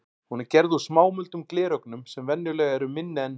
Hún er gerð úr smámuldum glerögnum sem venjulega eru minni en